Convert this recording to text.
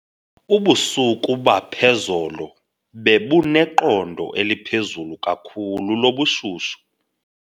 Ubusuku baphezolo bebuneqondo eliphezulu kakhulu lobushushu.